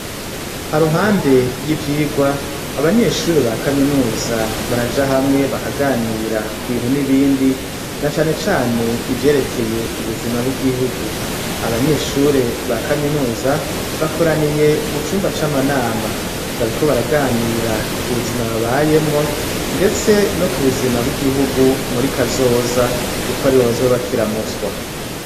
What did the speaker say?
Haruhande y'ivyigwa, abanyeshure ba kaminuza baraja hamwe bakaganira ku bintu n'ibindi na cane cane ivyerekeye ubuzima bw'igihugu, abanyeshure ba kaminuza bakoraniye mu cumba c'amanama, bariko baraganira ku buzima babayemwo ndetse no ku buzima bw'igihugu muri kazoza kuko aribo bazoba bakiramutswa.